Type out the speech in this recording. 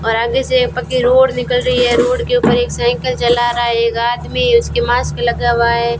और आगे से पक्की रोड निकल रही है रोड के ऊपर एक साइकिल चला रा है एक आदमी उसकी मास्क लगा हुआ है।